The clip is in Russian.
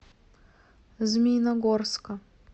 змеиногорска